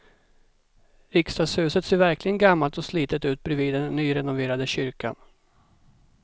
Riksdagshuset ser verkligen gammalt och slitet ut bredvid den nyrenoverade kyrkan.